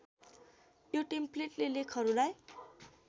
यो टेम्प्लेटले लेखहरूलाई